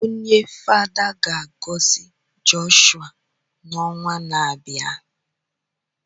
Onye Fada ga-agọzi Jọshụa n’ọnwa na-abịa